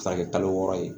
Ka kɛ kalo wɔɔrɔ ye